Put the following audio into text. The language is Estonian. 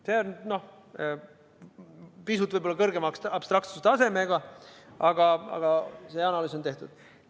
See on võib-olla pisut kõrgema abstraktsuse tasemega, aga see analüüs on tehtud.